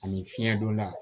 Ani fiɲɛ donna